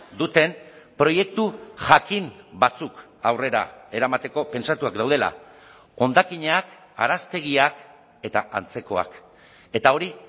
duten proiektu jakin batzuk aurrera eramateko pentsatuak daudela hondakinak araztegiak eta antzekoak eta hori